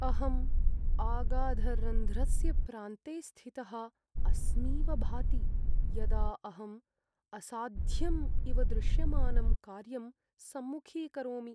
अहम् अगाधरन्ध्रस्य प्रान्ते स्थितः अस्मीव भाति यदा अहम् असाध्यम् इव दृश्यमानं कार्यं सम्मुखीकरोमि।